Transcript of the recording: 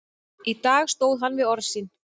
Í dag stóð hann við orð sín.